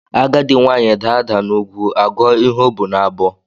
Agadi nwaanyị daa ada n'ugwu agụ ọ ihe o bu n'abọ